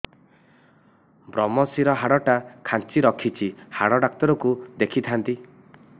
ଵ୍ରମଶିର ହାଡ଼ ଟା ଖାନ୍ଚି ରଖିଛି ହାଡ଼ ଡାକ୍ତର କୁ ଦେଖିଥାନ୍ତି